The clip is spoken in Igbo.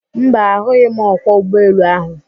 Mba, a hụghị m ọkwọ ụgbọ elu ahụ.